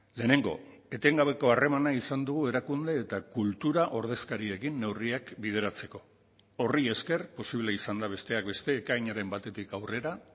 lehenengo etengabeko harremana izan dugu erakunde eta kultura ordezkariekin neurriak bideratzeko horri esker posible izan da besteak beste ekainaren batetik aurrera